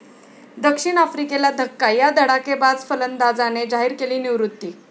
दक्षिण आफ्रिकेला धक्का, या धडाकेबाज फलंदाजाने जाहीर केली निवृत्ती